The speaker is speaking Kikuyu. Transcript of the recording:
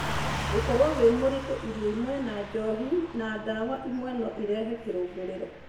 Gũkorwo wĩ mũritũ, irio imwe, njohi na ndawa imwe no cirehe kĩrũngũrĩro.